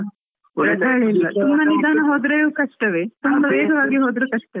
ತುಂಬ ನಿಧಾವಾಗಿ ಹೋದ್ರು ಕಷ್ಟವೇ ತುಂಬ ವೇಗವಾಗಿ ಹೋದ್ರು ಕಷ್ಟವೇ.